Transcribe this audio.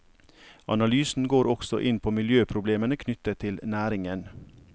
Analysen går også inn på miljøproblemene knyttet til næringen.